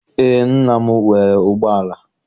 Eé, nna m nwere ụgbọala.